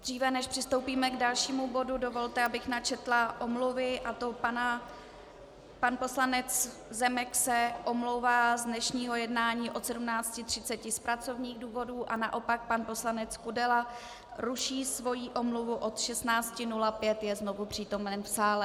Dříve než přistoupíme k dalšímu bodu, dovolte, abych načetla omluvy, a to pan poslanec Zemek se omlouvá z dnešního jednání od 17.30 z pracovních důvodů a naopak pan poslanec Kudela ruší svoji omluvu, od 16.05 je znovu přítomen v sále.